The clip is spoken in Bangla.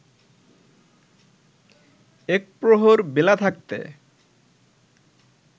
একপ্রহর বেলা থাকতে